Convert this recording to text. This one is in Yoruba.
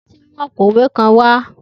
Titi n mu apoowe kan wa.